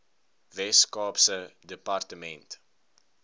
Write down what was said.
wes kaapse departement